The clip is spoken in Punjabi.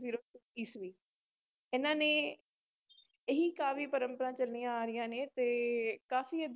ਈਸਵੀ ਇਹਨਾਂ ਨੇ ਇਹੀ ਕਾਵਿ ਪਰੰਪਰਾ ਚੱਲੀਆਂ ਆ ਰਹੀਆਂ ਨੇ ਤੇ ਕਾਫ਼ੀ